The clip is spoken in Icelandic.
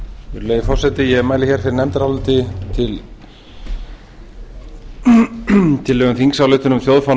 virðulegi forseti ég mæli hér fyrir nefndaráliti um tillögu til þingsályktunar um þjóðfána